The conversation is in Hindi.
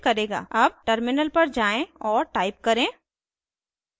अब टर्मिनल पर जाएँ और टाइप करें